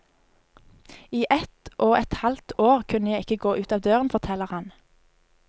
I ett og et halvt år kunne jeg ikke gå ut av døren, forteller han.